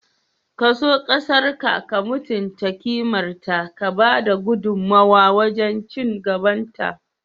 Ka so ƙasarƙa, ka mutunta kimarta, ka ba da gudummuwa wajen ci gabanta.